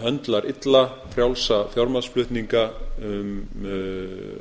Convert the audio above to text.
höndlar illa frjálsa fjármagnsflutninga um